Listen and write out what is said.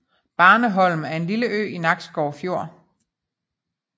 Barneholm er en lille ø i Nakskov Fjord